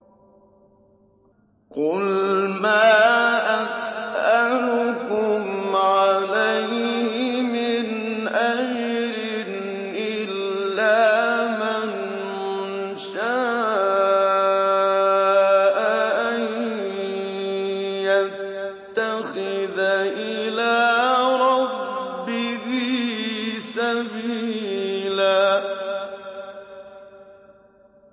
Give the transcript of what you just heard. قُلْ مَا أَسْأَلُكُمْ عَلَيْهِ مِنْ أَجْرٍ إِلَّا مَن شَاءَ أَن يَتَّخِذَ إِلَىٰ رَبِّهِ سَبِيلًا